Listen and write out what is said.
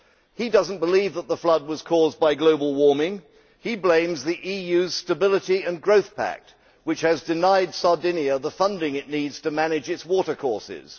He does not believe that the flood was caused by global warming he blames the EU's Stability and Growth Pact, which has denied Sardinia the funding it needs to manage its water courses.